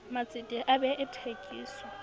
matsete a bee a thekiso